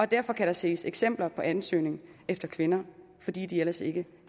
derfor kan der ses eksempler på ansøgninger efter kvinder fordi de ellers ikke